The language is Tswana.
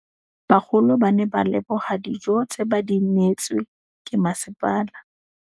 Bagolo ba ne ba leboga dijô tse ba do neêtswe ke masepala.